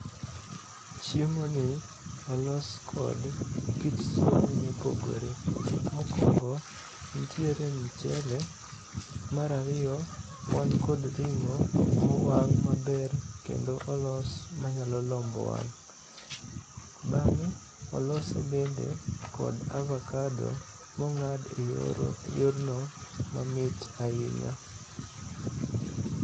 Chiemoni olos kod kit chiemo mopogore. Mokwongo ntiere mchele, mar ariyo wan kod ring'o mowang' maber kendo olos manyalo lombo wang. Bang'e olose bende kod avakado mong'ad e yorno mamit ahinya.